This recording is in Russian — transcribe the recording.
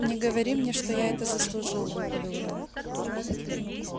не говори мне что я это заслужил выпалил рон